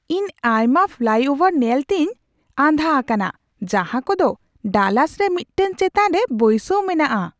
ᱤᱧ ᱟᱭᱢᱟ ᱯᱷᱞᱟᱭᱼᱳᱵᱷᱟᱨ ᱧᱮᱞᱛᱮᱧ ᱟᱸᱫᱷᱟ ᱟᱠᱟᱱᱟ ᱡᱟᱦᱟᱸ ᱠᱚᱫᱚ ᱰᱟᱞᱟᱥ ᱨᱮ ᱢᱤᱫᱴᱟᱝ ᱪᱮᱛᱟᱱ ᱨᱮ ᱵᱟᱹᱭᱥᱟᱹᱣ ᱢᱮᱱᱟᱜᱼᱟ ᱾